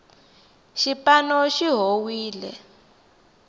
xipano xi howile